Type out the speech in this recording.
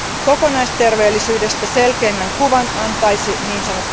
Kokonaisterveellisyydestä selkeimmän kuvan antaisi ns.